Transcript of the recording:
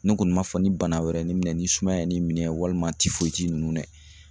Ne kɔni b'a fɔ ni bana wɛrɛ ye ne minɛ ni sumaya ye ne minɛ walima ninnu dɛ